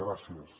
gràcies